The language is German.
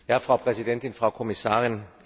Frau Präsidentin, Frau Kommissarin!